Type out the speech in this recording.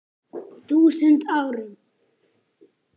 þúsund árum.